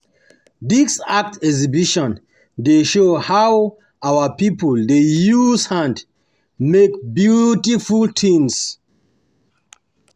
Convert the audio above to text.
Dis art exhibition dey show how our pipo dey use hand make beautiful tins.